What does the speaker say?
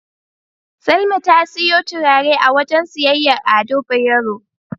Salma ta siyo turare a wajen siyayyar Ado Bayero.